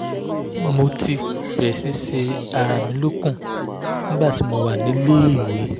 mo ti bẹ̀rẹ̀ sí ṣe ara mi lókun nígbà tí mo wà níléèwé